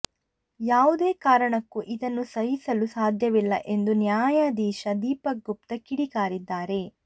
ಯಾವುದೇ ಕಾರಣಕ್ಕೂ ಇದನ್ನು ಸಹಿಸಲು ಸಾಧ್ಯವಿಲ್ಲ ಎಂದು ನ್ಯಾಯಾಧೀಶ ದೀಪಕ್ ಗುಪ್ತಾ ಕಿಡಿಕಾರಿದ್ದಾರೆ